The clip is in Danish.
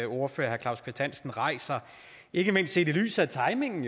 ordfører herre claus kvist hansen rejser ikke mindst set i lyset af timingen